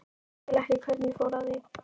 Skil ekki hvernig ég fór að því.